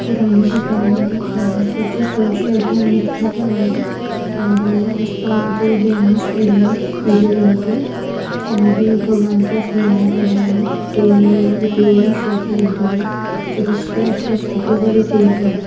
पुरानी दुकान है जहा पर जो फर्श है वो मिटी का है और आस पास दो वेन्स खड़ी है पिले रंग की और भी कबाड़ का सामान पड़ा है कोई रीपेरिंग शॉप लग रही है पर उसके अस्स पास काफी सारे पेड़ है।